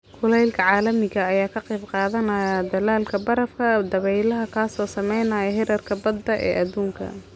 Kulaylka caalamiga ah ayaa ka qayb qaadanaya dhalaalka barafka dabaylaha, kaas oo saameeya heerarka badda ee adduunka.